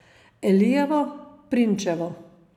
Elijevo, Prinčevo.